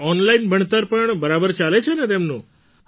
આ ઑનલાઇન ભણતર પણ બરાબર ચાલે છે ને તેમનું